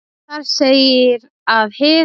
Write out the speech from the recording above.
Þar segir að hið